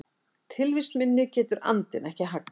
Tilvist minni getur andinn ekki haggað.